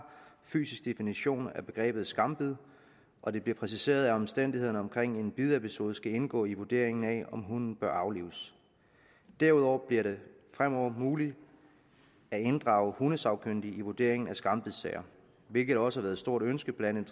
fysisk definition af begrebet skambid og det bliver præciseret at omstændighederne omkring en bidepisode skal indgå i vurderingen af om hunden bør aflives derudover bliver det fremover muligt at inddrage hundesagkyndige i vurderingen af skambidssager hvilket også har været et stort ønske blandt